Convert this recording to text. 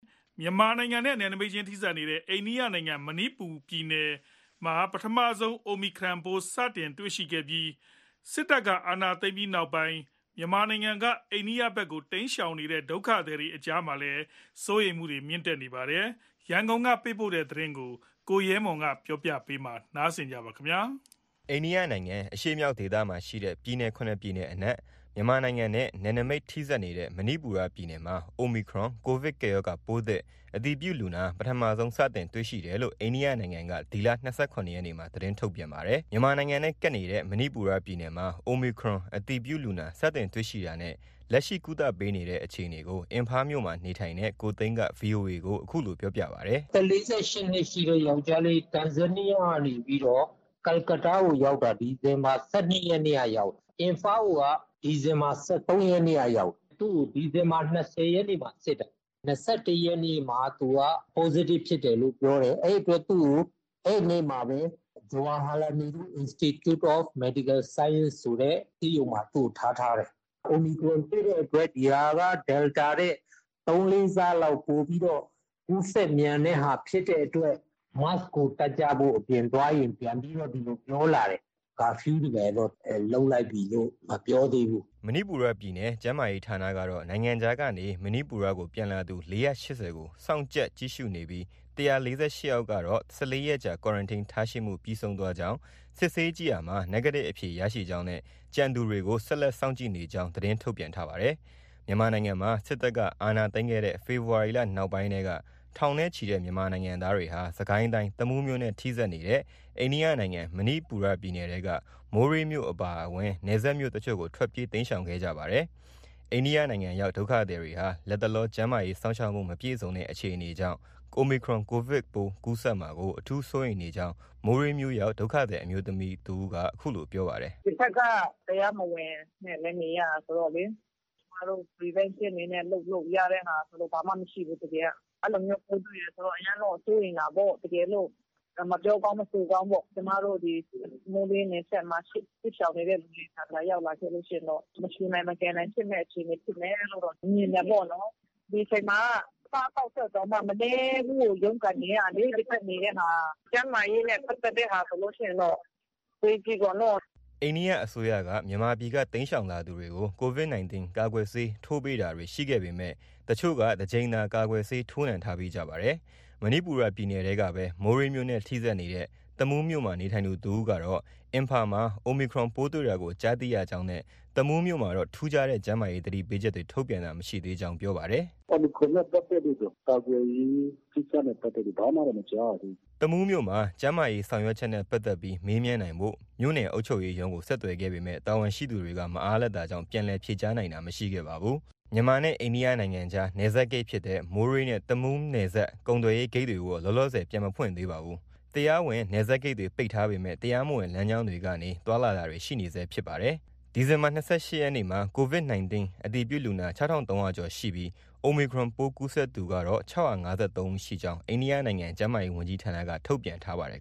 မြန်မာနိုင်ငံနဲ့ နယ်နမိတ်ချင်းထိစပ်နေတဲ့ အိန္ဒိယနိုင်ငံ မဏိပူရပြည်နယ်မှာ ပထမဆုံး Omicron ကိုဗစ်ပိုးသစ်ကူးစက်သူ စတင်တွေ့ရှိထားပါတယ်။ စစ်တပ်အာဏာသိမ်းပြီးနောက်မြန်မာနိုင်ငံကနေ အိန္ဒိယနိုင်ငံဘက်ကို တိမ်းရှောင်နေတဲ့ ဒုက္ခသည်တွေအများအပြား မဏိပူရပြည်နယ်ဘက်မှာ ရှိနေတာကြောင့် Omicron ကိုဗစ်ပိုးသစ်ကူးစက် ပျံ့နှံ့မှာ အတော်လေးစိုးရိမ်နေကြကြောင်း ရန်ကုန်ကနေ သတင်းပေးပို့ထားပါတယ်။ အိန္ဒိယနိုင်ငံအရှေ့မြောက်ဒေသမှာရှိတဲ့ ပြည်နယ် ၇ ပြည်နယ်အနက် မြန်မာနိုင်ငံနဲ့ နယ်နိမိတ် ထိဆက်နေတဲ့ မဏိပူရပြည်နယ်မှာ Omicron ကိုဗစ်ကပ်ရောဂါ ပိုးသစ်အတည်ပြုလူနာ ပထမဆုံး စတင်တွေ့ရှိတယ် လို့ အိန္ဒိယနိုင်ငံက ဒီလ ၂၇ ရက်နေ့မှာ သတင်းထုတ်ပြန်ထားပါတယ်။ မြန်မာနိုင်ငံနဲ့ ကပ်နေတဲ့ မဏိပူရပြည်နယ်မှာ Omicron အတည်ပြုလူနာ စတင်တွေ့ရှိတာနဲ့ လက်ရှိ ကုသပေးနေတဲ့ အခြေအနေကို အင်ဖားမြို့မှာ နေထိုင်နေတဲ့ ကိုသိန်းက VOA ကို အခုလို ပြောပြပါတယ်။ “အသက် ၄၈ နှစ်ရှိတဲ့ယောင်္ကျားလေး တန်ဇန်နီးယားကနေ ကာလကတ္တားကို ရောက်တာ ဒီဇင် ဘာ ၁၂ ရက်နေ့ကနေ ရောက်တာ။ အင်ဖားကိုက ဒီဇင်ဘာ ၁၃ ရက်နေ့က ရောက်တာ။ သူ့ကို ဒီဇင်ဘာ ၂၀ ရက်နေ့မှာ စစ်တာ။ ၂၁ ရက်နေ့မှာ သူက Positive ဖြစ်တယ်လို့ ပြောတယ်။ အဲဒီအတွက် သူ့ကို အဲဒီနေ့မှာပဲ Jawaharlal Nehru Institute of Medical Science ဆိုတဲ့ ဆေးရုံမှာ သူ့ကို ထားထားတယ်။ Omicron တွေ့တဲ့အတွက် ဒီဟာက Delta ထက် ၃-၄ ဆလောက် ပိုပြီးတော့ ကူးစက်မြန်တဲ့ဟာဖြစ်တဲ့အတွက် Mask ကို တပ်ကြဖို့၊ အပြင်သွားရင် ပြန်ပြီးတော့ ဒီလို ပြောလာတယ်။ Curfew တွေ ဘာတွေတော့ လုပ်လိုက်ပြီလို့ မပြောသေးဘူး။ ” မဏိပူရပြည်နယ် ကျန်းမာရေးဌာနကတော့ နိုင်ငံခြားကနေမဏိပူရကို ပြန်လာသူ ၄၈၀ ကို စောင့်ကြပ်ကြည့်ရှုနေပြီး ၁၄၈ ယောက်ကတော့ ၁၄ ရက်ကြာ Quarantine ထားရှိမှုပြီးဆုံးသွားကြောင်း ၊ စစ်ဆေးကြည့်ရာမှာ Negative အဖြေရရှိကြောင်းနဲ့ ကျန်သူတွေကို ဆက်လက် စောင့်ကြည့်နေကြောင်း သတင်း ထုတ်ပြန်ထားပါတယ်။ မြန်မာနိုင်ငံမှာ စစ်တပ်က အာဏာသိမ်းခဲ့တဲ့ ဖေဖော်ဝါရီလ နောက်ပိုင်းကတည်းက ထောင်နဲ့ချီတဲ့ မြန်မာနိုင်ငံသားတွေဟာ စစ်ကိုင်းတိုင်း တမူးမြို့နဲ့ ထိစပ်နေတဲ့ အိန္ဒိယနိုင်ငံ မဏိပူရပြည်နယ်ထဲက မိုးရေးမြို့အပါအဝင် နယ်စပ်မြို့တချို့ကို ထွက်ပြေး တိမ်းရှောင်ခဲ့ကြပါတယ်။ အိန္ဒိယနိုင်ငံရောက် ဒုက္ခသည်တွေဟာ လတ်တလော ကျန်းမာရေး စောင့်ရှောက်မှု မပြည့်စုံတဲ့ အခြေအနေ ကြောင့် Omicron ကိုဗစ်ပိုးကူးစက်မှာကို အထူး စိုးရိမ်နေကြောင်း မိုးရေးမြို့ရောက် ဒုက္ခသည်အမျိုးသမီး တစ်ဦးက ပြောပါတယ်။ “ဒီဘက်က တရားမဝင်နဲ့လည်း နေရတာဆိုတော့လေ ကျမတို့ Prevention အနေနဲ့ လုပ်လို့ ရတဲ့ဟာဆိုတာက ဘာမှ မရှိဘူး။ တကယ်က။ အဲလိုမျိုး ပိုးတွေ့တယ်ဆိုတော့ အရမ်းတော့ စိုးရိမ်တာပေါ့။ တကယ်လို့ မပြောကောင်း မဆိုကောင်းပေါ့။ ကျမတို့ မိုးရေးနယ်စပ်မှာရှိတဲ့ စစ်ရှောင်နေတဲ့ သူတွေထံမှာ ရောက်လာခဲ့လို့ ရှိရင်တော့ မရှုနိုင် မကယ်နိုင် ဖြစ်မယ့်အခြေအနေ ဖြစ်မယ်လို့တော့ မြင်တယ်ပေါ့နော်။ ဒီအချိန်မှာက အစားအသောက်အတွက်တောင်မှ မနည်းရုန်းကန်နေရတာလေ ဒီဘက်နေတဲ့ဟာ။ ကျန်းမာရေးနဲ့ ပတ်သက်တဲ့ဟာဆိုလို့ ရှိရင်တော့ အဝေးကြီးပေါ့နော။” အိန္ဒိယအစိုးရက မြန်မာပြည်က တိမ်းရှောင်လာသူတွေကို Covid 19 ကာကွယ်ဆေးထိုးပေးတာတွေ ရှိခဲ့ပေမဲ့တချို့က တကြိမ်သာ ကာကွယ်ဆေး ထိုးနှံထားပြီးကြပါတယ်။ မဏိပူရပြည်နယ်ထဲကပဲ မိုးရေးမြို့နဲ့ ထိစပ်နေတဲ့ တမူးမြို့မှာနေထိုင်သူတဦးကတော့ အင်ဖာမှာ Omicron ပိုးတွေ့တာကို ကြားသိရကြောင်းနဲ့ တမူးမြို့မှာတော့ ထူးခြားတဲ့ ကျန်းမာရေး သတိပေးချက်တွေ ထုတ်ပြန်တာ မရှိသေးကြောင်း ပြောပါတယ်။ “Omicron နဲ့ ပတ်သက်လို့တော့ ကာကွယ်ရေးကိစ္စနဲ့ပတ်သက်လို့တော့ ဘာမှတော့ မကြားရသေးဘူး။” တမူးမြို့မှာ ကျန်းမာရေးဆောင်ရွက်ချက်နဲ့ ပတ်သက်ပြီး မေးမြန်းနိုင်ဖို့ မြို့နယ်အုပ်ချုပ်ရေးရုံးကို ဆက်သွယ်ခဲ့ပေမဲ့ တာဝန်ရှိသူတွေ မအားလပ်တာကြောင့် ပြန်လည် ဖြေကြားနိုင်တာ မရှိခဲ့ပါဘူး။ မြန်မာနဲ့ အိန္ဒိယနိုင်ငံကြား နယ်စပ်ဂိတ်ဖြစ်တဲ့ မိုးရေးနဲ့ တမူးနယ်စပ်ကုန်သွယ်ရေးဂိတ်တွေကိုတော့ လောလောဆယ်ပြန်မဖွင့်သေးပါဘူး။ တရားဝင် နယ်စပ်ဂိတ်တွေ ပိတ်ထားပေမဲ့ တရားမဝင်လမ်းကြောင်းတွေကနေ သွားလာတာတွေ ရှိနေဆဲဖြစ်ပါတယ်။ အိန္ဒိယနိုင်ငံမှာ ဒီနေ့ ဒီဇင်ဘာ ၂၈ ရက် အတွက် Covid 19 အတည်ပြုလူနာ ၆၃၀၀ ကျော်ရှိပြီး Omicron ပိုးကူးစက်မှုသူ၆၅၃ ဦးရှိကြောင်း အိန္ဒိယနိုင်ငံကျန်းမာရေးဝန်ကြီးဌာနက ထုတ်ပြန်ထားပါတယ်